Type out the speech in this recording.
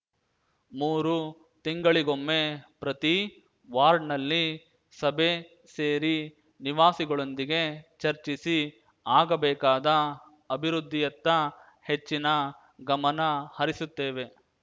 ಮೂರು ತಿಂಗಳಿಗೊಮ್ಮೆ ಪ್ರತಿ ವಾರ್ಡ್‌ನಲ್ಲಿ ಸಭೆ ಸೇರಿ ನಿವಾಸಿಗಳೊಂದಿಗೆ ಚರ್ಚಿಸಿ ಆಗಬೇಕಾದ ಅಭಿವೃದ್ಧಿಯತ್ತ ಹೆಚ್ಚಿನ ಗಮನ ಹರಿಸುತ್ತೇವೆ